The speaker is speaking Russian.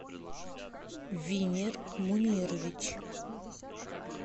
винир мунирович